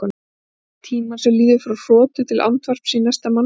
Telja tímann sem líður frá hrotu til andvarps í næsta manni.